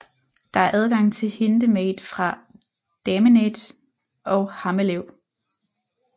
Der er adgang til Hindemade fra Damende og Hammelev